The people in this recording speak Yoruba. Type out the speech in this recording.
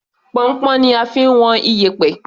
Pọnnpọ́n ni a fi ń wọn iyẹ̀pẹ̀.